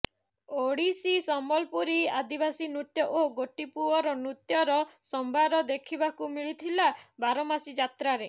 ଓଡ଼ିଶୀ ସମ୍ବଲପୁରୀ ଆଦିବାସୀ ନୃତ୍ୟ ଓ ଗୋଟିପୁଅର ନୃତ୍ୟର ସମ୍ଭାର ଦେଖିବାକୁ ମିଳିଥିଲା ବାରମାସୀ ଯାତ୍ରାରେ